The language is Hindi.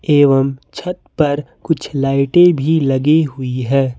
एवं छत पर कुछ लाइटें भी लगी हुई है।